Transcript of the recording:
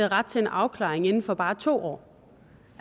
ret til en afklaring inden for bare to år